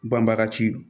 Banbaga ci